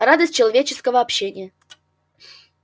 радость человеческого общения